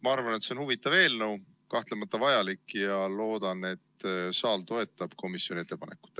Ma arvan, et see on huvitav ja kahtlemata vajalik eelnõu, ning loodan, et saal toetab komisjoni ettepanekut.